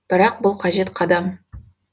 бірақ бұл қажет қадам